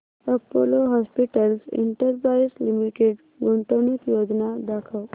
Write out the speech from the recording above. Apollo Hospitals Enterprise Limited गुंतवणूक योजना दाखव